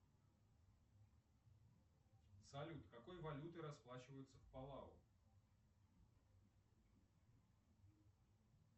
салют какой валютой расплачиваются в палау